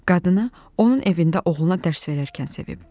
Qadını onun evində oğluna dərs verərkən sevib.